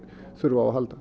þurfi á að halda